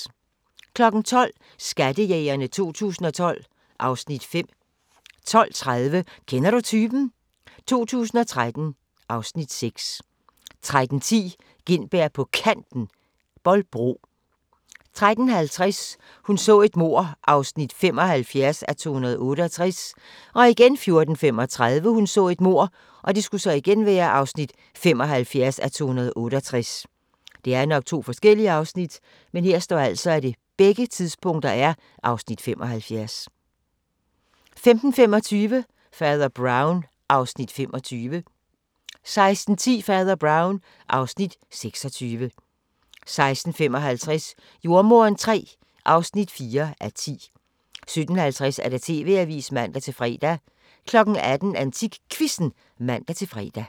12:00: Skattejægerne 2012 (Afs. 5) 12:30: Kender du typen? 2013 (Afs. 6) 13:10: Gintberg på Kanten – Bolbro 13:50: Hun så et mord (75:268) 14:35: Hun så et mord (75:268) 15:25: Fader Brown (Afs. 25) 16:10: Fader Brown (Afs. 26) 16:55: Jordemoderen III (4:10) 17:50: TV-avisen (man-fre) 18:00: AntikQuizzen (man-fre)